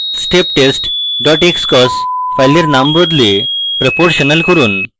steptest dot xcos file নাম বদলে proportional করুন